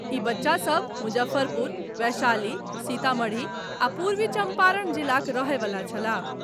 ई बच्चा सभ मुजफ्फरपुर, वैशाली, सीतामढ़ी आ पूर्वी चंपारण जिलाक रहए वला छलाह।